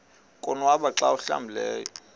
konwaba xa awuhlambileyo